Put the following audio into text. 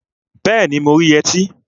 Bẹẹni, mo rí yẹtí